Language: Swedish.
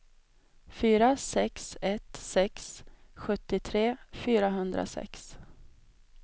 fyra sex ett sex sjuttiotre fyrahundrasex